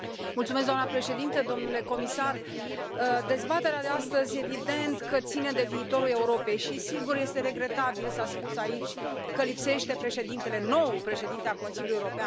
Doamna președintă, domnule comisar, dezbaterea de astăzi evident că ține de viitorul Europei și sigur, este regretabil, s a spus aici, că lipsește președintele, noul președinte al Consiliul European.